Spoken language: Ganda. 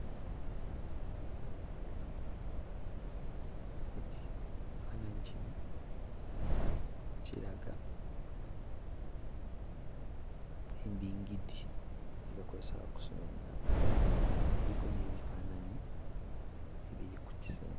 Ekifaananyi kino kiraga endingidi gye bakozesa okusuna ennanga. Kuliko n'ebifaananyi ebiri ku kisenge.